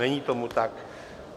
Není tomu tak.